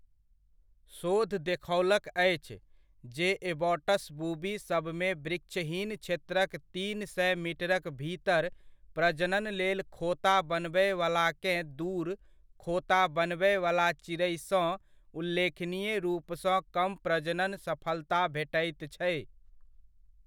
शोध देखौलक अछि, जे एबॉट्स बूबी सभमे वृक्षहीन क्षेत्रक तीन सए मीटरक भीतर प्रजनन लेल खोता बनबयवलाकेँ दूर खोता बनबयवला चिड़ैसँ उल्लेखनीय रूपसँ कम प्रजनन सफलता भेटैत छै।